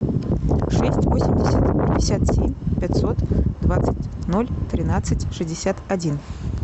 шесть восемьдесят пятьдесят семь пятьсот двадцать ноль тринадцать шестьдесят один